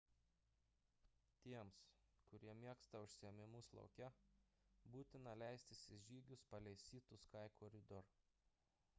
tiems kurie mėgsta užsiėmimus lauke būtina leistis į žygius palei sea to sky corridor